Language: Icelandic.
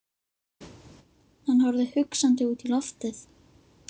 Hann horfði hugsandi út í loftið.